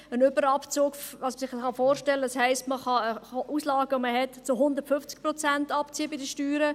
Ein Überabzug heisst, dass man die Auslagen bei den Steuern zu 150 Prozent abziehen kann.